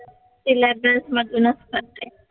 Syllabus मधूनच करताय?